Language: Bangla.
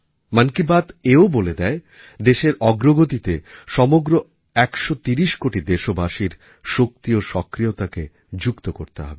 মন কি বাত এও বলে দেয় দেশের অগ্রগতিতে সমগ্র ১৩০ কোটি দেশবাসীর শক্তি ও সক্রিয়তাকে যুক্ত করতে হবে